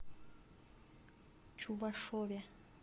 чувашове